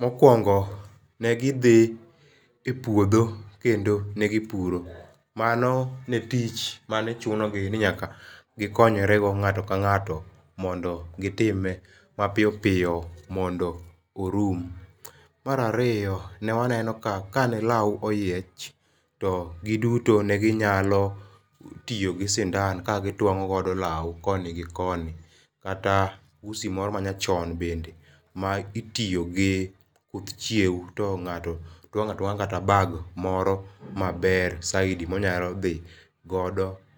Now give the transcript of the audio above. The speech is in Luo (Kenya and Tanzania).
Mokuongo ne gi dhi epuodho kendo ne gi puro mano ne tich mane chuno ni gi konyre ng'ato ka ng'ato mondo gi time ma piyo piyo mondo orum. Mar ariyo, ne waneno ka ka ne law oyiech to gi duto ne gi nyalo tiyo gi sindan ka gi twang'o godo law koni gi koni kata usi moro ma nyachon bende ma itiyo gi kuth chiewo to ng'ato twang'o atwang'a kata bag moro ma ber saidi ma onyalo dhi go